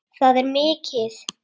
Það er mikið!